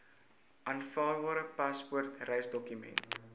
aanvaarbare paspoort reisdokument